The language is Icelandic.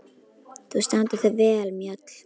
Þú stendur þig vel, Mjöll!